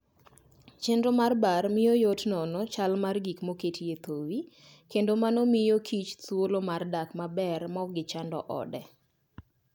Chenro mar bar miyo yot nono chal mar gik moketie thowi, kendo mano miyokich thuolo mar dak maber maok gichand ode.